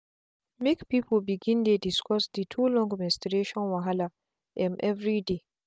make people begindey discuss the too long menstruation wahala um everyday.